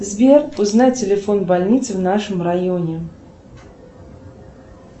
сбер узнай телефон больницы в нашем районе